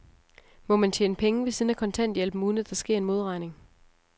Må man tjene penge ved siden af kontanthjælpen, uden at der sker en modregning?